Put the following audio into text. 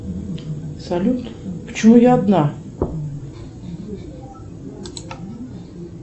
салют почему я одна